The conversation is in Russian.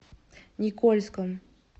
никольском